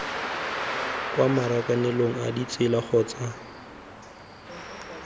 kwa marakanelong a ditsela kgotsa